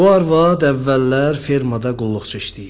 Bu arvad əvvəllər fermada qulluqçu işləyirdi.